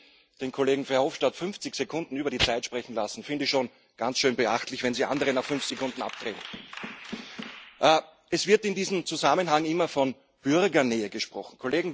Also, dass Sie den Kollegen Verhofstadt 50 Sekunden über die Zeit sprechen lassen, finde ich schon ganz schön beachtlich, wenn Sie andere nach fünf Sekunden abdrehen. Es wird in diesem Zusammenhang immer von Bürgernähe gesprochen.